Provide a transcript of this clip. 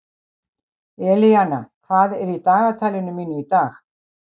Elíana, hvað er í dagatalinu mínu í dag?